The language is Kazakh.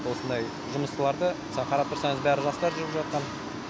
осындай жұмысшыларды осы қарап тұрсаңыз бәрі жастар жүріп жатқан